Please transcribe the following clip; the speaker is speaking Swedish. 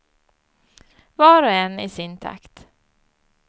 Var och en i sin takt.